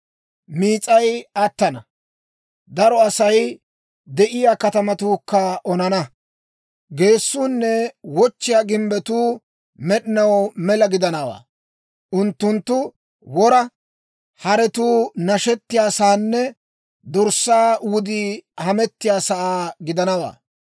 Miis'ay attana; daro Asay de'iyaa katamatuukka onana; geessuunne wochchiyaa gimbbetuu med'inaw mela gidanawaa; unttunttu wora haretuu nashettiyaasaanne dorssaa wudii hamettiyaasaa gidanawaa.